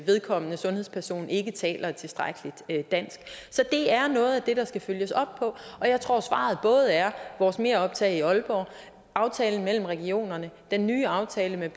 vedkommende sundhedsperson ikke taler et tilstrækkeligt dansk så det er noget af det der skal følges op på og jeg tror at svaret både er vores meroptag i aalborg aftalen mellem regionerne og den nye aftale med